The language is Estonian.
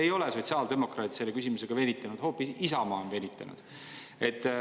Ei ole sotsiaaldemokraadid selle küsimusega venitanud, hoopis Isamaa on venitanud.